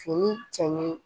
Fini cɛɲi